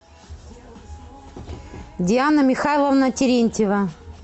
диана михайловна терентьева